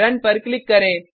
run पर click करें